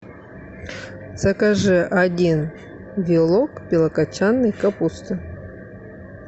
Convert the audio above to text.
закажи один вилок белокочанной капусты